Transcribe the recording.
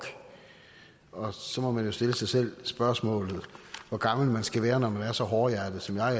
og så må man jo stille sig selv spørgsmålet hvor gammel man skal være når man er så hårdhjertet som jeg